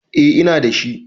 A na girka